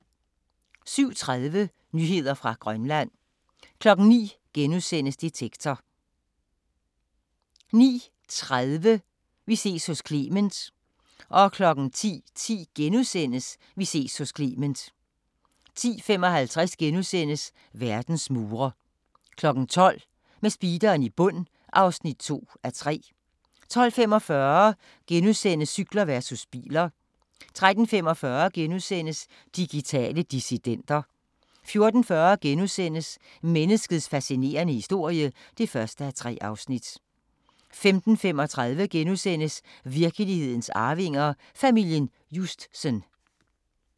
07:30: Nyheder fra Grønland 09:00: Detektor * 09:30: Vi ses hos Clement 10:10: Vi ses hos Clement * 10:55: Verdens mure * 12:00: Med speederen i bund (2:3) 12:45: Cykler versus biler * 13:45: Digitale dissidenter * 14:40: Menneskets fascinerende historie (1:3)* 15:35: Virkelighedens arvinger: Familien Justsen *